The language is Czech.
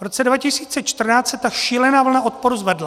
V roce 2014 se ta šílená vlna odporu zvedla.